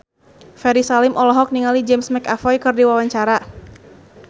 Ferry Salim olohok ningali James McAvoy keur diwawancara